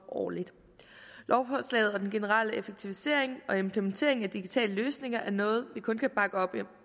årligt lovforslaget og den generelle effektivisering og implementering af digitale løsninger er noget vi kun kan bakke op i